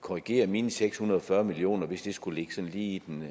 korrigere mine seks hundrede og fyrre million kr hvis det skulle ligge sådan lige i den